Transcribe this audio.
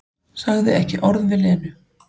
Sagði ekki orð við Lenu.